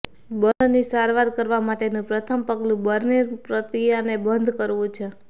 બર્નની સારવાર કરવા માટેનું પ્રથમ પગલું બર્નિંગ પ્રક્રિયાને બંધ કરવું છે